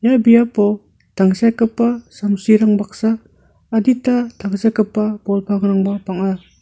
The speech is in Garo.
ia biapo tangsekgipa samsirang baksa adita tangsekgipa bol pangrangba bang·a.